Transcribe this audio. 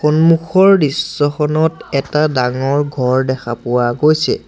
সন্মুখৰ দৃশ্যখনত এটা ডাঙৰ ঘৰ দেখা পোৱা গৈছে।